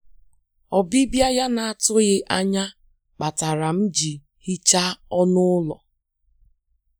Ọbịbịa ya na-atụghị anya kpatara m ji hichaa ọnụ ụlọ.